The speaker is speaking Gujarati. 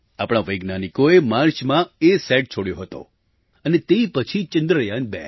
આપણા વૈજ્ઞાનિકોએ માર્ચમાં અસત છોડ્યો હતો અને તે પછી ચંદ્રયાન2